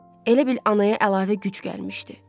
Elə bil anaya əlavə qüvvə gəlmişdi.